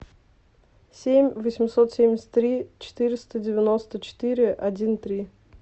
семь восемьсот семьдесят три четыреста девяносто четыре один три